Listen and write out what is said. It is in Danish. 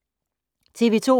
TV 2